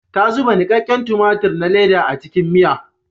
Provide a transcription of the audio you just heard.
Ta zuba nikakken tumatir na leda a cikin miya.